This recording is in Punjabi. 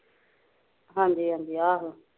ਹਾਂਜੀ ਹਾਂਜੀ ਆਹੋ